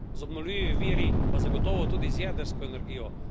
Z obnovljivimi viri pa zagotovo tudi z jedrsko energijo.